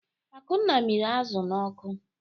Akunna mịrị azụ̀ n'ọkụ.